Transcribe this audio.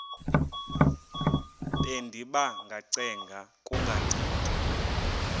bendiba ngacenga kungancedi